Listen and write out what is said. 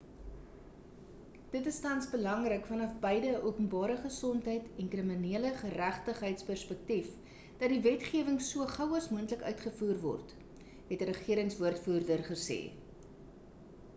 dit is tans belangrik vanaf beide 'n openbare gesondheid en kriminele geregtigheids perspektief dat die wetgewing so gou as moontlik uitgevoer word het 'n regerings-woordvoerder gesê